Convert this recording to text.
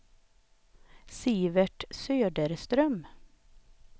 Sivert Söderström